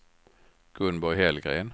Gunborg Hellgren